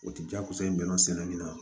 O ti jakosa in bɛnna sɛnɛ min na